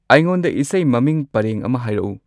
ꯑꯩꯉꯣꯟꯗ ꯏꯁꯩ ꯃꯃꯤꯡ ꯄꯔꯦꯡ ꯑꯃ ꯍꯥꯏꯔꯛꯎ